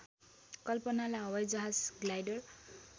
कल्पनालाई हवाईजहाज ग्लाइडर